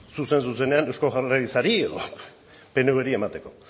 zuzen zuzenean eusko jaurlaritzari edo pnvri emateko